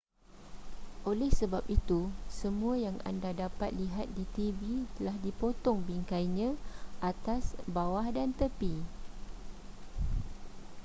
oleh sebab itu semua yang anda dapat lihat di tv telah dipotong bingkainya atas bawah dan tepi